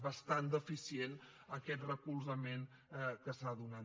bastant deficient aquest recolzament que s’ha donat